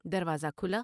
دروازہ کھلا ۔